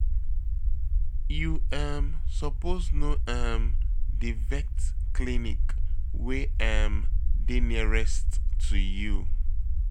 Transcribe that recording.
You um suppose know um di vet clinic wey um dey nearest to you.